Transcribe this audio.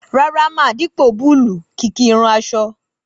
Rárá ma, dipo búlúù kìki irun aṣọ.